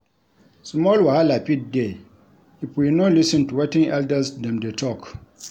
Small wahala fit dey if we no lis ten to wetin elders dem dey talk.